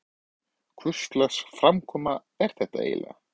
Hvurslags framkoma er þetta eiginlega?